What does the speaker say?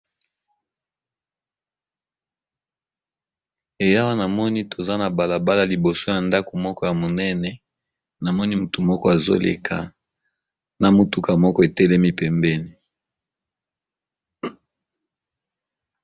Ee awa namoni toza na balabala liboso yandako moko yamunene mutu moko azoleka na mutuka moko etelemi pembeni